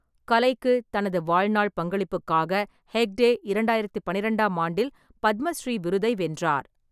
கலைக்கு தனது வாழ்நாள் பங்களிப்புக்காக ஹெக்டே இரண்டாயிரத்து பன்னிரண்டாம் ஆண்டில் பத்மஸ்ரீ விருதை வென்றார்.